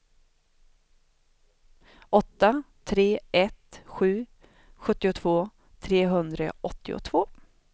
åtta tre ett sju sjuttiotvå trehundraåttiotvå